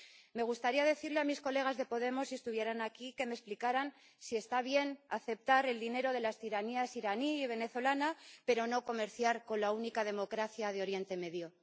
Me gustaría decirles a mis colegas de Podemos, si estuvieran aquí, que me explicaran si está bien aceptar el dinero de las tiranías iraní y venezolana, pero no comerciar con la única democracia de Oriente Medio.